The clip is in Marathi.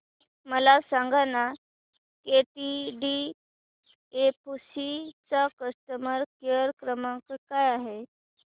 मला सांगाना केटीडीएफसी चा कस्टमर केअर क्रमांक काय आहे